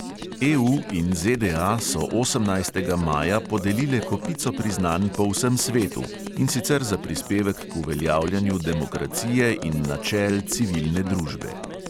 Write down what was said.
EU in ZDA so osemnajstega maja podelile kopico priznanj po vsem svetu, in sicer za prispevek k uveljavljanju demokracije in načel civilne družbe